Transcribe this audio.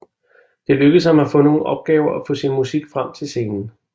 Det lykkedes ham at få nogle opgaver og få sin musik frem til scenen